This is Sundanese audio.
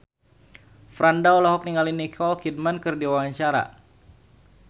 Franda olohok ningali Nicole Kidman keur diwawancara